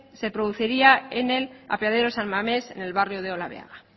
se produciría en el apeadero san mamés en el barrio de olabeaga